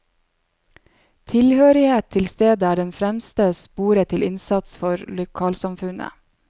Tilhørighet til stedet er den fremste spore til innsats for lokalsamfunnet.